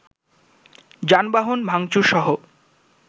যানবাহন ভাংচুর-সহ